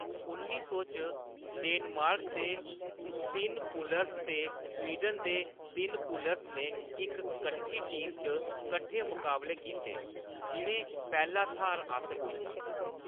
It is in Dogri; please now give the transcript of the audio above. उन्नी सौ च, डेनमार्क दे तिन पुलर्स ते स्वीडन दे तिन पुलर्स ने इक कट्ठी टीम च कट्ठे मकाबले कीते जिʼनें पैह्‌‌ला थाह्‌‌‌र हासल कीता।